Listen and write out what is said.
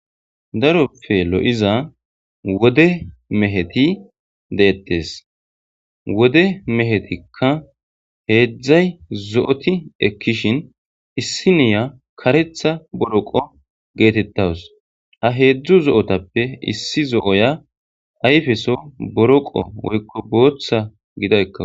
Daroppe lo'iza wode meheti detees wode mehetika heedzdzay zo'oti ekkishin issiniya kareththa boroqo geetetawus ha heedzdzu zo'otappe issi zo'oya ayfeso boroqo woykko booththa gida ekkawus.